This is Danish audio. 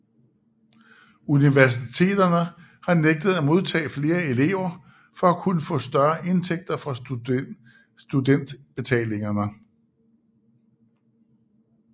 Universiteterne har nægtet at modtage flere elever for at kunne få større indtægter fra studentbetalingerne